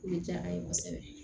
O de diyara an ye kosɛbɛ